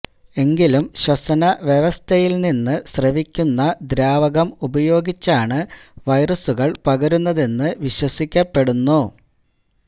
എങ്കിലും ശ്വസനവ്യവസ്ഥയില് നിന്ന് സ്രവിക്കുന്ന ദ്രാവകം ഉപയോഗിച്ചാണ് വൈറസുകള് പകരുന്നതെന്ന് വിശ്വസിക്കപ്പെടുന്നു